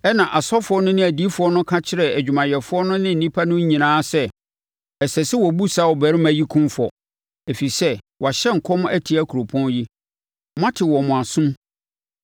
Ɛna asɔfoɔ no ne adiyifoɔ no ka kyerɛɛ adwumayɛfoɔ no ne nnipa no nyinaa sɛ, “Ɛsɛ sɛ wɔbu saa ɔbarima yi kumfɔ, ɛfiri sɛ wahyɛ nkɔm atia kuropɔn yi. Moate wɔ mo asom!”